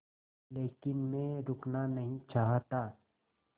लेकिन मैं रुकना नहीं चाहता